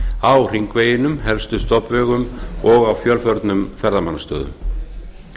á hringveginum helstu stofnvegum og á fjölförnum ferðamannastöðum